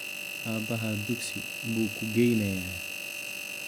Aabahaa dugsi buu ku geynayaa.